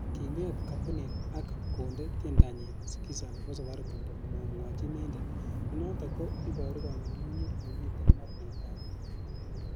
Kinget kompunit ak konde tiendanyin skiza nebo safaricom komomwochi inendet, nenoton ko iboru kong'unyng'unyet nemiten mornetab tinwogik.